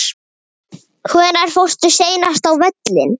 Hvenær fórstu seinast á völlinn?